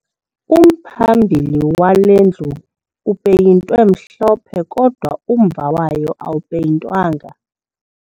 Umphambili wale ndlu upeyintwe mhlophe kodwa umva wayo awupeyintwanga